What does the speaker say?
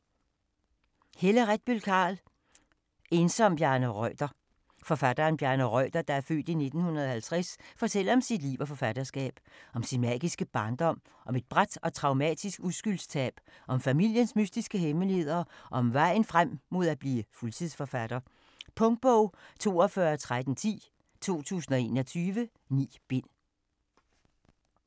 Carl, Helle Retbøll: En som Bjarne Reuter Forfatteren Bjarne Reuter (f. 1950) fortæller om sit liv og forfatterskab. Om sin magiske barndom, om et brat og traumatisk uskyldstab, om familiens mystiske hemmeligheder og om vejen frem mod at blive fuldtidsforfatter. Punktbog 421310 2021. 9 bind.